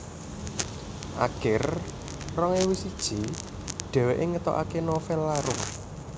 Akir rong ewu siji dhèwèké ngetokaké novèl Larung